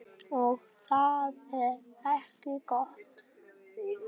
Og það er ekki gott.